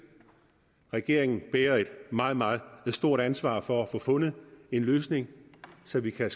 regeringen bærer et meget meget stort ansvar for at få fundet en løsning så vi kan